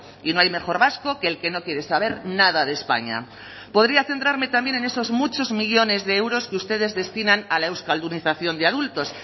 y no hay mejor vasco que el que no quiere saber nada de españa podría centrarme también en esos muchos millónes de euros que ustedes destinan a la euskaldunización de adultos